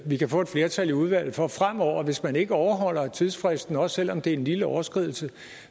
vi kan få et flertal i udvalget for at der fremover hvis man ikke overholder tidsfristen også selv om det er en lille overskridelse